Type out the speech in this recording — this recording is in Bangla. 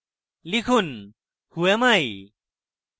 লিখুন whoami